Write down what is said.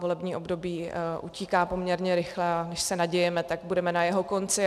Volební období utíká poměrně rychle, a než se nadějeme, tak budeme na jeho konci.